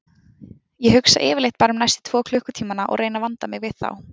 Ég hugsa yfirleitt bara um næstu tvo klukkutímana og reyni að vanda mig við þá.